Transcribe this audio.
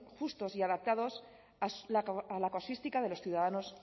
justos y adaptados a la casuística de los ciudadanos